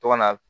To ka na